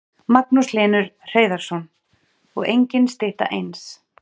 Magnús Hlynur Hreiðarsson: Og engin stytta eins?